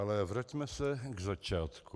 Ale vraťme se k začátku.